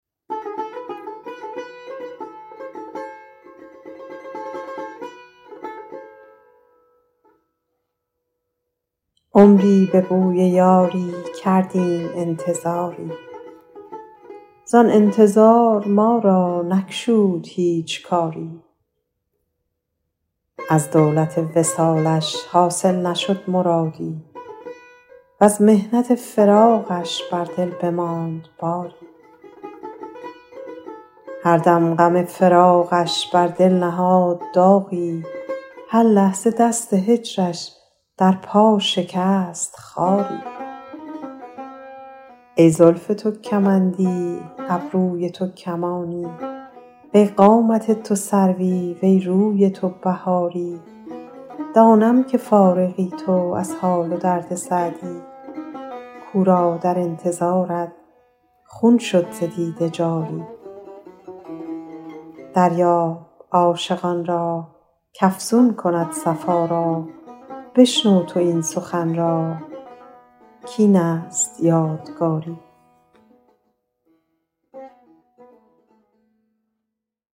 عمری به بوی یاری کردیم انتظاری زآن انتظار ما را نگشود هیچ کاری از دولت وصالش حاصل نشد مرادی وز محنت فراقش بر دل بماند باری هر دم غم فراقش بر دل نهاد باری هر لحظه دست هجرش در دل شکست خاری ای زلف تو کمندی ابروی تو کمانی وی قامت تو سروی وی روی تو بهاری دانم که فارغی تو از حال و درد سعدی کاو را در انتظارت خون شد دو دیده باری دریاب عاشقان را کافزون کند صفا را بشنو تو این سخن را کاین یادگار داری